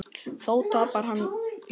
Þó tapar hann í lokin.